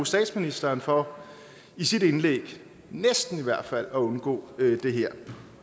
statsministeren for i sit indlæg næsten i hvert fald at undgå det her